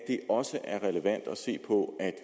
ikke også er relevant at se på at